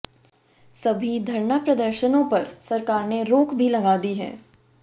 सभी धरना प्रदर्शनों पर सरकार ने रोक भी लगा दी है